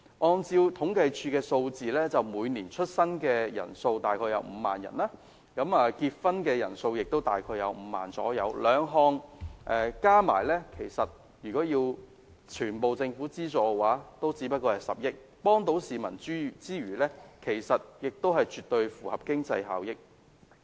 按照政府統計處的數字，每年出生人數大概5萬，結婚人數亦大概5萬，兩項加起來，如果全部要政府資助的話也只須10億元，能夠幫助市民之餘，亦絕對符合經濟效益。